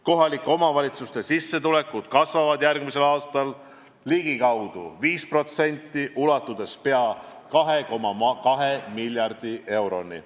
Kohalike omavalitsuste sissetulekud kasvavad järgmisel aastal ligikaudu 5%, ulatudes pea 2,2 miljardi euroni.